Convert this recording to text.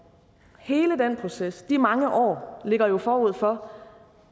hele den proces de mange år ligger jo forud for